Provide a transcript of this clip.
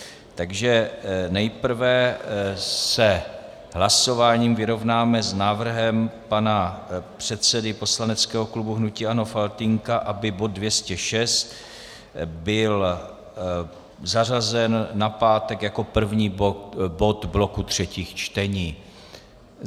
Takže nejprve se hlasováním vyrovnáme s návrhem pana předsedy poslaneckého klubu hnutí ANO Faltýnka, aby bod 206 byl zařazen na pátek jako první bod bloku třetích čtení.